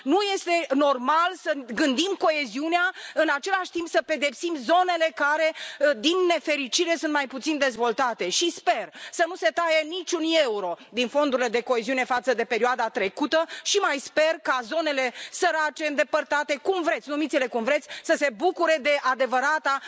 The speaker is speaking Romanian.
Nu este normal să gândim coeziunea, în același timp să pedepsim zonele care, din nefericire, sunt mai puțin dezvoltate și sper să nu se taie niciun euro din fondurile de coeziune față de perioada trecută și mai sper ca zonele sărace, îndepărtate, cum vreți, numiți le cum vreți, să se bucure de adevărata